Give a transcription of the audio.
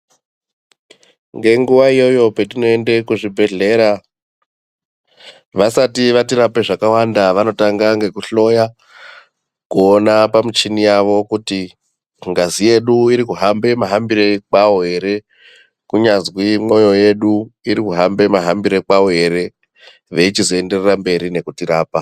Ngenguva iyoyo patinoenda ku zvibhedhlera vasati vatirapa zvakawanda vanotanga ngeku hloya kuona pa michini yavo kuti ngazi yedu iri kuhamba muhambiro kwawo ere kunyanzwi mwoyo yedu iri kuhamba mahambiro kwawo ere veichizoenda mberi nekuti rapa.